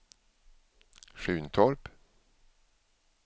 Sjuntorp